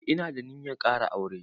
Eh ina da ninyar ƙara aure.